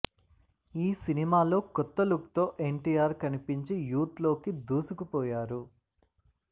ఈ సినిమాలో కొత్త లుక్ తో ఎన్టీఆర్ కనిపించి యూత్ లోకి దూసుకుపోయారు